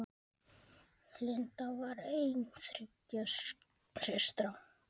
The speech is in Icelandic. Linda var ein þriggja systra.